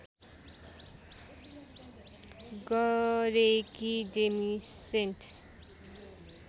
गरेकी डेमी सेन्ट